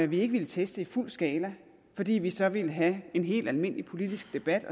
vi ikke ville teste i fuld skala fordi vi så ville have en helt almindelig politisk debat